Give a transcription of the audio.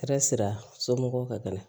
Kɛra sira somɔgɔw kan ka na